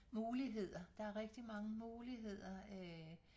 Muligheder der er rigtig mange muligheder øh